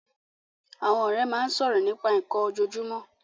Àwọn ọ̀rẹ́ máa ń sọ̀rọ̀ nípa nnkan ojoojúmọ́